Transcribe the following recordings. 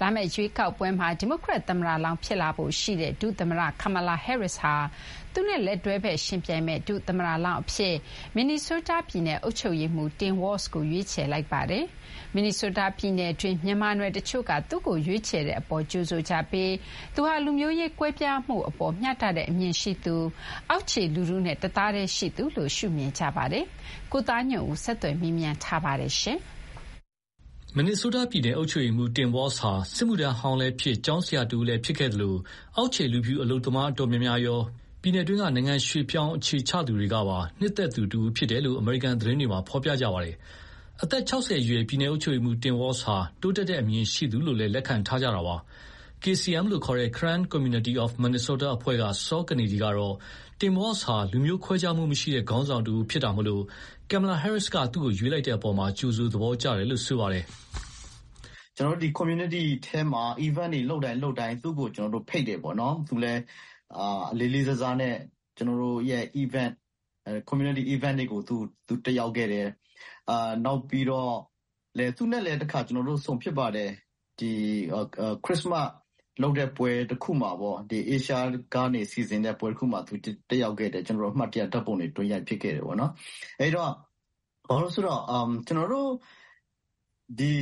လာမယ့်ရွေးကောက်ပွဲမှာ ဒီမိုကရက်သမ္မတလောင်းဖြစ်လာဖို့ရှိတဲ့ ဒုသမ္မတ Kamala Harris ဟာ သူနဲ့ လက်တွဲဖက် ယှဉ်ပြိုင်မယ့်ဒုသမ္မတလောင်းအဖြစ် မင်နီဆိုးတားပြည်နယ်အုပ်ချုပ်ရေးမှူး Tim Walz ကို ရွေးချယ်လိုက်ပါတယ်။ မင်နီဆိုးတားပြည်နယ်တွင်း မြန်မာနွယ်တချို့က သူ့ကိုရွေးချယ်တဲ့အပေါ် ကြိုဆိုကြပြီး သူဟာ လူမျိုးရေးကွဲပြားမှုအပေါ် မျှတတဲ့အမြင်ရှိသူ၊ အောက်ခြေလူထုနဲ့တသားတည်းရှိသူလို့ မြင်ကြပါတယ်။ ကိုသားညွန့်ဦးက ဆက်သွယ်မေးမြန်းထားပါတယ်။ မင်နီဆိုးတားပြည်နယ် အုပ်ချုပ်ရေးမှူး Tim Walz ဟာ စစ်မှုထမ်းဟောင်းလည်းဖြစ်၊ ကျောင်းဆရာတဦးလည်းဖြစ်ခဲ့သလို အောက်ခြေ လူဖြူအလုပ်သမားအတော်များများရော ပြည်နယ်တွင်း နိုင်ငံရွှေ့ပြောင်းအခြေချသူတွေကပါ နှစ်သက်သူ တဦးဖြစ်တယ်လို့ အမေရိကန်သတင်းတွေမှာ ဖော်ပြကြပါတယ်။ အသက် ၆၀ အရွယ် ပြည်နယ်အုပ်ချုပ်ရေးမှူး Tim Walz ဟာ တိုးတက်တဲ့အမြင်ရှိသူလို့လည်း လက်ခံထားကြတာပါ။ KCM လို့ခေါ်တဲ့ Karen Community of Minnesota အဖွဲ့က စောကနေဒီကတော့ Tim Walz ဟာ လူမျိုးခွဲခြားမှုမရှိတဲ့ခေါင်းဆောင်တဦးဖြစ်တာမို့ Kamala Harris က သူ့ကို ရွေးချယ်လိုက်တဲ့အပေါ် ကြိုဆို သဘောကျကြတယ်လို့ဆိုပါတယ်။ “ကျနော်တို့ community ထဲမှာ events လုပ်တိုင်း လုပ်တိုင်း သူ့ကိုဖိတ်တယ်။ သူလည်း လေးလေးစားစားနဲ့ ကျနော်တို့ရဲ့ event- community event တွေကို သူတက်ရောက်ခဲ့တယ်။ နောက်ပြီးတော့ သူနဲ့လည်း ကျနော်တို့ တခါဆုံဖြစ်ပါတယ်။ ခရစ္စမတ်လုပ်တဲ့ပွဲတခုမှာပေါ့။ Asia ကနေစီစဥ်တဲ့ပွဲတခုမှာ တက်ရောက်ခဲ့တယ်။ ကျနော်တို့ အမှတ်တရဓာတ်ပုံတွေ တွဲရိုက်ဖြစ်ခဲ့တယ်ပေါ့နော်။ အဲဒီတော့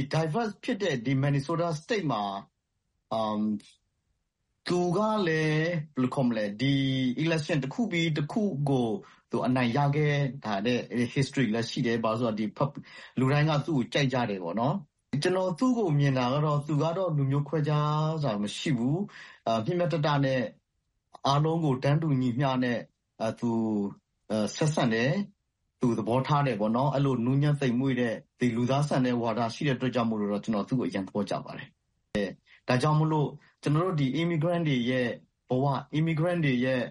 Diverse ဖြစ်တဲ့ ဒီ မင်နီဆိုးတားစတိတ်မှာ သူကလည်း ဒီ election တခုပြီးတခုကို အနိုင်ရခဲ့တဲ့ history လည်းရှိတယ်။ ဘာလို့လဲဆို - လူတိုင်းက သူ့ကိုကြိုက်ကြတယ်ပေါ့နော်။ ကျနော်သူ့ကိုမြင်တာကတော့ - သူကတော့ လူမျိုးခွဲခြားတာမရှိဘူး။ မျှမျှတတနဲ့အားလုံးကို တန်းတူညီမျှနဲ့ ဆက်ဆံတယ်၊ သူသဘောထားတယ်ပေါ့နော်။ အဲဒီလို နူးညံ့သိမ်မွေ့တဲ့၊ လူသားဆန်တဲ့ဝါဒရှိတဲ့ အတွက်ကြောင့် ကျနော် သူ့ကိုအရမ်းသဘောကျပါတယ်။ ဒါကြောင့်မို့လို့ ကျနော်တို့ immigrant တွေရဲ့ဘဝ၊ immigrant တွေရဲ့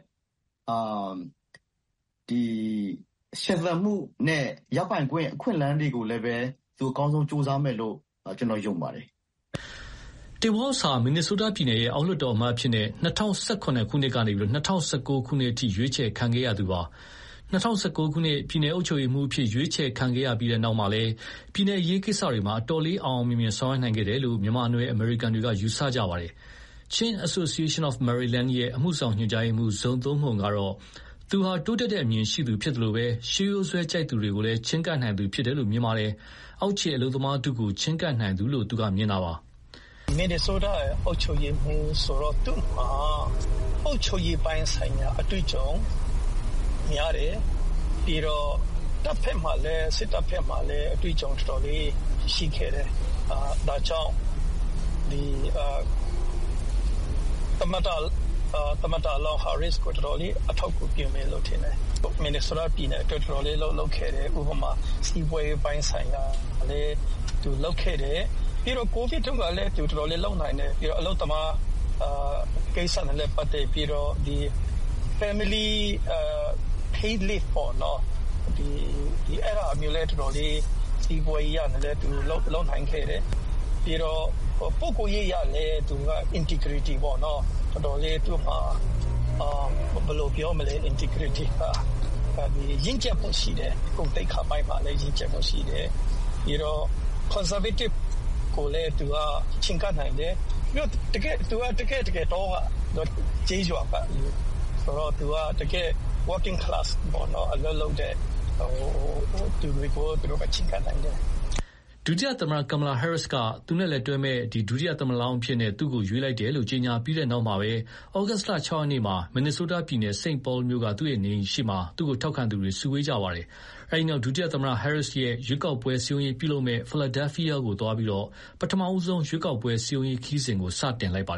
ရှင်သန်မှုနဲ့ ရပိုင်ခွင့် အခွင့်အလမ်းတွေကိုလည်းပဲ သူကောင်းကောင်းကြိုးစားမယ်လို့ ကျနော် ယုံပါတယ်။” Tim Walz ဟာ မင်နီဆိုးတားပြည်နယ်ရဲ့ အောက်လွှတ်တော်အမတ်အဖြစ် ၂၀၀၇ ခုနှစ်ကနေ ၂၀၁၉ ခုနှစ်အထိ ရွေးချယ်ခံခဲ့ရသူပါ။ ၂၀၁၉ ပြည်နယ်အုပ်ချုပ်ရေးမှူးအဖြစ် ရွေးချယ်ခံရပြီးတဲ့နောက်လည်း ပြည်နယ်အရေးကိစ္စတွေမှာ အတော်လေး အောင်အောင်မြင်မြင်ဆောင်ရွက်နိုင်ခဲ့တယ်လို့ မြန်မာနွယ်အမေရိကန်တွေက ယူဆကြပါတယ်။ Chin Association of Maryland ရဲ့ အမှုဆောင် ညွှန်ကြားရေးမှူး Zo Tum Hmung ဇိုသုန်းမှုန်ကတော့ သူဟာ တိုးတက်တဲ့အမြင်ရှိသူဖြစ်သလို ရှေးရိုးစွဲကြိုက်သူတွေကိုလည်း ချဥ်းကပ်နိုင်သူဖြစ်တယ်လို့ မြင်ပါတယ်။ အောက်ခြေအလုပ်သမားထုကို ချဥ်းကပ်နိုင်သူလို့ သူက မြင်တာပါ။ “မင်နီဆိုးတား အုပ်ချုပ်ရေးမှူးဆိုတော့ သူ့မှာ အုပ်ချုပ်ရေးပိုင်းဆိုင်ရာ အတွေ့အကြုံများတယ်၊ ပြီးတော့ စစ်တပ်ဘက်မှာလည်း တော်တော်လေး အတွေ့အကြုံရှိခဲ့တယ်။ ဒါကြောင့် သမ္မတလောင်း ဟာရစ္စ်ကို တော်တော်လေး အထောက်အကူဖြစ်မယ်လို့ ထင်တယ်။ မင်နီဆိုးတားပြည်နယ်အတွက် တော်တော်လေး အလုပ်လုပ်ခဲ့တယ်။ ဥပမာ-စီးပွါးရေးပိုင်းဆိုင်ရာလည်း သူလုပ်ခဲ့တယ်။ ကိုဗစ်တုန်းကလည်း သူ တော်တော်လေး လုပ်နိုင်တယ်။ ပြီးတော့ အလုပ်သမားကိစ္စတွေနဲ့ပတ်သက်ပြီးတော့ family paid-leave ပေါ့။ အဲဒါတွေလည်း စီးပွါးရေးအရလည်း တော်တော်လေး လုပ်နိုင်ခဲ့တယ်။ ပြီးတော့ ပုဂ္ဂိုလ်ရေးအရလည်း သူက integrity ပေါ့နော်၊ တော်တော်လေး သူ့မှာ ဘယ်လိုပြောမလဲ၊ integrity က ရင့်ကျက်မှုရှိတယ်။ ဂုဏ်သိက္ခာပိုင်းမှာလည်း ရင့်ကျက်မှုရှိတယ်။ ပြီးတော့ conservative ကိုလည်း သူက ချဥ်းကပ်နိုင်တယ်။ သူက တကယ့်တကယ် တောက၊ ကျေးရွာကလူဆိုတော့ တကယ့် working-class အလုပ်လုပ်တဲ့သူတွေကိုရော ချဥ်းကပ်နိုင်တယ်။” ဒုတိယသမ္မတ Kamala Harris က သူ့နဲ့လက်တွဲမယ့် ဒုသမ္မတလောင်းအဖြစ် သူ့ကို ရွေးချယ်လိုက်တယ်လို့ ကြေညာပြီးတဲ့နောက် ဩဂုတ်လ ၆ ရက်နေ့မှာပဲ မင်နီဆိုးတားပြည်နယ် St Paul မြို့ က သူ့နေအိမ်ရှေ့မှာပဲ သူ့ကိုထောက်ခံသူတွေ စုဝေးခဲ့ကြပါတယ်။ အဲဒီနောက် ဒုသမ္မတ Harris ရဲ့ ရွေးကောက်ပွဲစည်းရုံးရေးပြုလုပ်မယ့် Philadelphia ကိုသွားရောက်ပြီး ပထမဆုံး ရွေးကောက်ပွဲစည်းရုံးရေးခရီးစဉ်ကို စတင်လိုက်ပါတယ်